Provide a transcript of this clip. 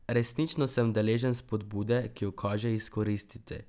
Resnično sem deležen spodbude, ki jo kaže izkoristiti.